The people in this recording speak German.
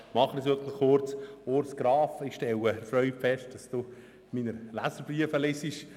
Ich stelle fest, dass Sie, Grossrat Graf, meine Leserbriefe lesen.